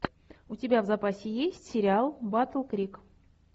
у тебя в запасе есть сериал батл крик